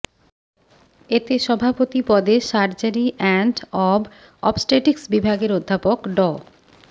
এতে সভাপতি পদে সার্জারি অ্যান্ড অব অবস্টেটিকস বিভাগের অধ্যাপক ড